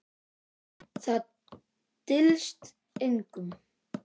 Það dylst engum.